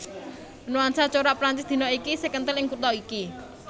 Nuansa corak Prancis dina iki isih kenthel ing kutha iki